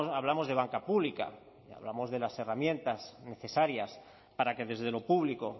hablamos de banca pública y hablamos de las herramientas necesarias para que desde lo público